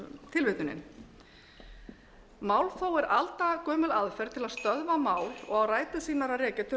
hefst tilvitnunin málþóf er aldagömul aðferð til að stöðva mál og á rætur sínar að rekja